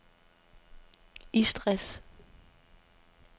Istres